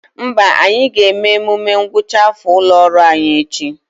Mba, anyị ga-eme emume ngwụcha afọ ụlọ ọrụ anyị echi